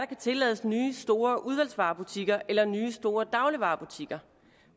kan tillades nye store udvalgsvarebutikker eller nye store dagligvarebutikker